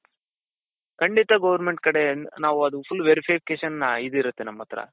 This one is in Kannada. ಖಂಡಿತ government ಕಡೆಯಿಂದ ನಾವು ಅದು full verification ಇದ್ ಇರುತ್ತೆ ನಮ್ ಹತ್ರ.